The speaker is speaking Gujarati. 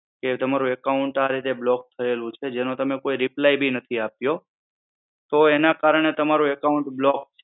જે તમારું account આ રીતે block થયેલું છે. જેનો તમે કોઈ reply બી નથી આપ્યો તો એના કારણે તમારું account block